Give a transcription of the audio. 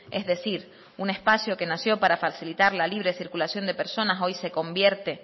es decir un espacio que nació para facilitar la libre circulación de personas hoy se convierte